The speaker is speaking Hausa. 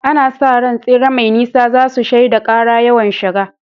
Ana sa ran tsere mai nisa za su shaida ƙara yawan shiga.